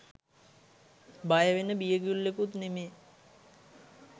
බය වන්න බියගුල්ලෙකුත් නෙමයි